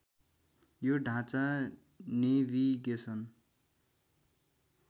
यो ढाँचा नेभिगेसन